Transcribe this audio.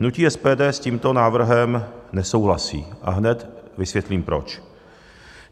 Hnutí SPD s tímto návrhem nesouhlasí a hned vysvětlím proč.